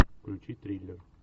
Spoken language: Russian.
включи триллер